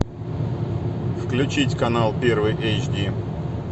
включить канал первый эйч ди